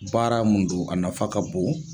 baara mun don a nafa ka bon